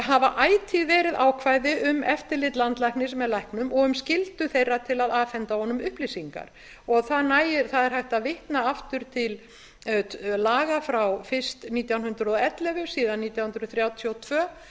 hafa ætíð verið ákvæði um eftirlit landlæknis með læknum og um skyldu þeirra til að afhenda honum upplýsingar það er hægt að vitna aftur til laga síðan frá fyrst nítján hundruð og ellefu síðan nítján hundruð þrjátíu og tvö nítján